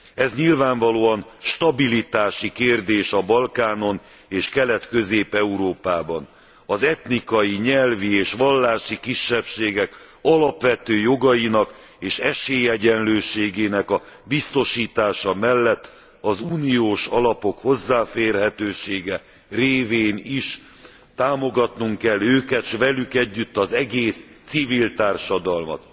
Ez nyilvánvalóan stabilitási kérdés a Balkánon és Kelet Közép Európában. Az etnikai, nyelvi és vallási kisebbségek alapvető jogainak és esélyegyenlőségének a biztosítása mellett az uniós alapok hozzáférhetősége révén is támogatnunk kell őket s velük együtt az egész civil társadalmat.